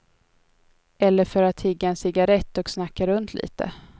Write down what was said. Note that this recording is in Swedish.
Eller för att tigga en cigarrett och snacka runt lite.